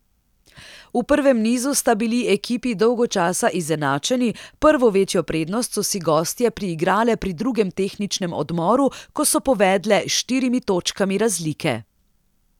V prvem nizu sta bili ekipi dolgo časa izenačeni, prvo večjo prednost so si gostje priigrale pri drugem tehničnem odmoru, ko so povedle s štirimi točkami razlike.